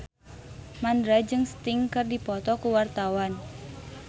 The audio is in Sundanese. Mandra jeung Sting keur dipoto ku wartawan